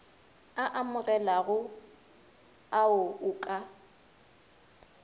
a amogelegago ao o ka